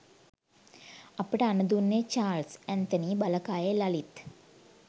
අපට අණ දුන්නේ චාල්ස් ඇත්නතී බලකායේ ලලිත්